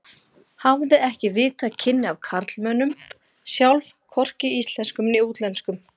Hafði ekki haft víðtæk kynni af karlmönnum sjálf, hvorki íslenskum né útlenskum.